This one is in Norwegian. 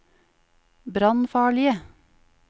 brannfarlige